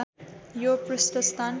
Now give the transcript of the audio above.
यो पृष्ठ स्थान